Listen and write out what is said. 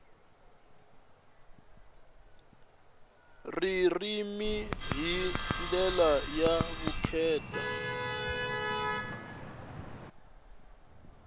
ririmi hi ndlela ya vukheta